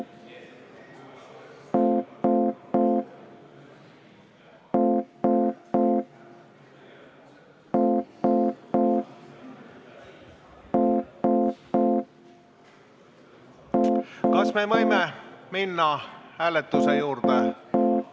Kas me võime minna hääletuse juurde?